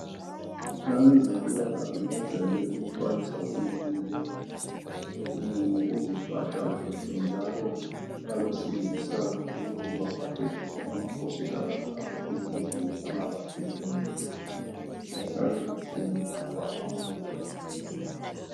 Abezempilakahle bajayele ukuxwayisa uzulu ngokuziphatha kuhle njalo abesilisa ukuthi baphathe kuhle amakhosikazi abo ezindlini bangaba hlukumezi bahlale kuhle labantwa babo